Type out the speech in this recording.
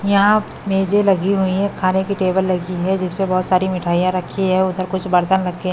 यहां बीजें लगी हुई है खाने की टेबल लगी है जिस पर बहुत सारी मिठाइयां रखी है उधर कुछ बर्तन रखे--